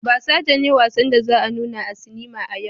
Basaja ne wassan da za a nuna a sinima a yau.